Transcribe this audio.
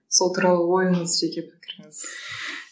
сол туралы ойыңыз жеке пікіріңіз